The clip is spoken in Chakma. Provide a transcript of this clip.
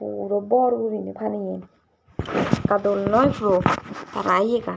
puro bor gurinei paneyan ekka dol noi tara iyegan.